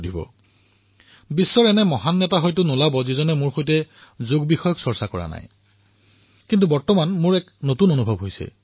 বোধহয় বিশ্বৰ এনে কোনো ডাঙৰ নেতা নোলাব যিয়ে মোৰ সৈতে যোগৰ বিষয়ে আলোচনা কৰা নাই আৰু এয়া সমগ্ৰ বিশ্বতে মোৰ অভিজ্ঞতা হৈছে